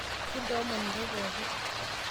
kintoomon intae pooki